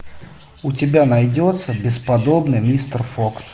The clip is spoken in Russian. у тебя найдется бесподобный мистер фокс